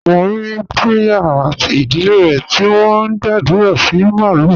Mo rí Priya àti ìdílé rẹ̀ tí wọ́n ń gbàdúrà sí màlúù.